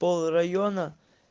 пол района